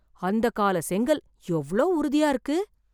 அந்தக்கால செங்கல் எவ்ளோ உறுதியா இருக்கு...